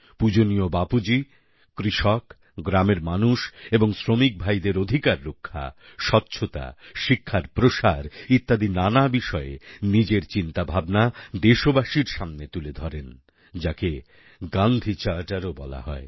পূজনীয় বাপুজী কৃষক গ্রামের মানুষ এবং শ্রমিক ভাইদের অধিকার রক্ষা স্বচ্ছতা শিক্ষার প্রসার ইত্যদি নানা বিষয়ে নিজের চিন্তাভাবনা দেশবাসীর সামনে তুলে ধরেন যাকে গান্ধি Charterও বলা হয়